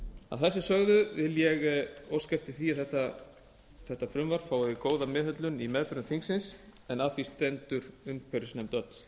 að þessu sögðu vil ég óska eftir því að frumvarpið fái góða meðhöndlun í meðförum þingsins en að því stendur umhverfisnefnd öll